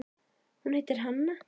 Hún heitir Hanna.